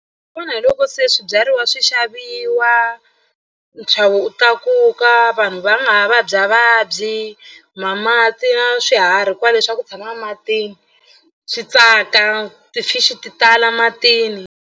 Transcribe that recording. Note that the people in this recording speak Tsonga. hi loko se swibyariwa swi xaviwa nxavo wu tlakuka vanhu va nga ha vabyavabyi ma mati ya swiharhi kwale leswaku u tshama matini swi tsaka ti-fish ti tala matini.